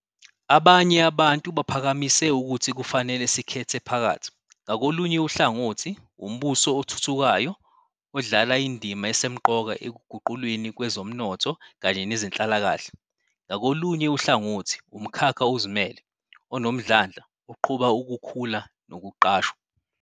Abanye abantu baphakamise ukuthi kufanele sikhethe phakathi, ngakolunye uhlangothi, umbuso othuthukayo odlala indima esemqoka ekuguqulweni kwezomnotho kanye nezenhlalakahle, ngakolunye uhlangothi, umkhakha ozimele, onomdlandla oqhuba ukukhula nokuqashwa.